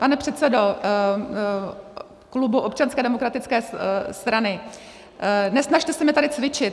Pane předsedo klubu Občanské demokratické strany, nesnažte se mě tady cvičit.